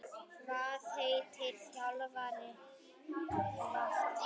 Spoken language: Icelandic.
Hvað heitir þjálfari Hvatar?